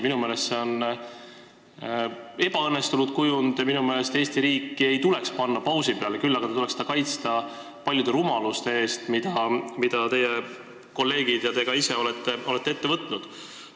Minu meelest on see ebaõnnestunud kujund, minu meelest Eesti riiki ei tuleks panna pausi peale, küll aga tuleks teda kaitsta paljude rumaluste eest, mida teie kolleegid ja ka teie ise olete ette võtnud.